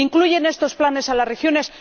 ¿Incluyen estos planes a las regiones?